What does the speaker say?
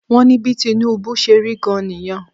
Wọ́n bí Tinubu ṣe rí gan-an nìyẹn